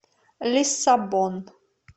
лиссабон